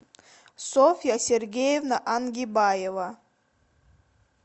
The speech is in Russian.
софья сергеевна ангибаева